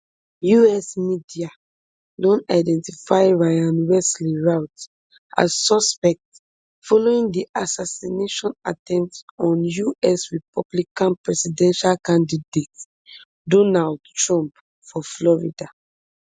us media don identify ryan wesley routh as suspect following di assassination attempt on us republican presidential candidate donald trump for florida